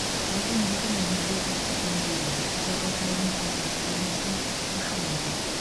сағат он жеті нөл нөлде ұлттық музейде қазақ алтайының қазынасы көрмесінің ашылуы өтеді